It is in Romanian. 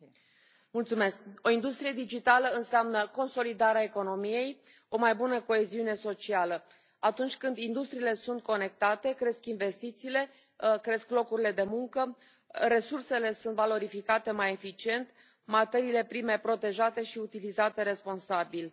Doamnă președintă, o industrie digitală înseamnă consolidarea economiei, o mai bună coeziune socială. Atunci când industriile sunt conectate, cresc investițiile, cresc locurile de muncă, resursele sunt valorificate mai eficient, materiile prime protejate și utilizate responsabil.